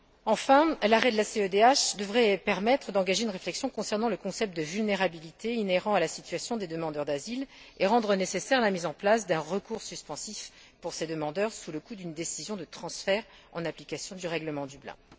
Enfin, l'arrêt de la CEDH devrait permettre d'engager une réflexion concernant le concept de vulnérabilité inhérent à la situation des demandeurs d'asile et rendre nécessaire la mise en place d'un recours suspensif pour ces demandeurs sous le coup d'une décision de transfert, en application du règlement de Dublin.